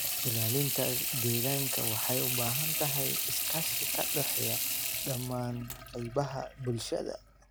Ilaalinta deegaanka waxay u baahan tahay iskaashi ka dhexeeya dhammaan qaybaha bulshada.